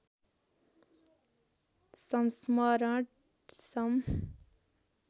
संस्मरण सं